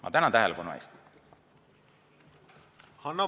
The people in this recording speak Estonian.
Ma tänan tähelepanu eest!